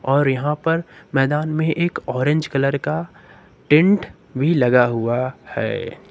और यहां पर मैदान में एक ऑरेंज कलर का टेंट भी लगा हुआ है।